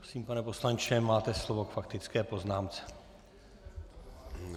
Prosím, pane poslanče, máte slovo k faktické poznámce.